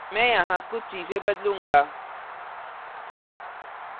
मैं यहाँ कुछ चीजें बदलूंगा